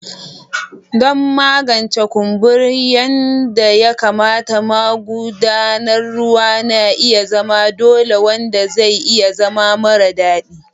Don magance kumburi yadda ya kamata, magudanar ruwa na iya zama dole, wanda zai iya zama mara daɗi.